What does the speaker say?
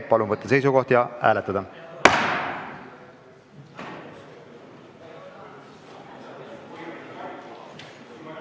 Palun võtta seisukoht ja hääletada!